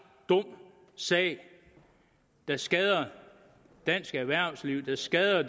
dum sag der skader dansk erhvervsliv der skader